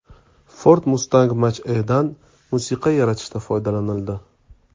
Ford Mustang Mach-E’dan musiqa yaratishda foydalanildi .